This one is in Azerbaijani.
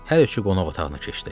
Hər üçü qonaq otağına keçdi.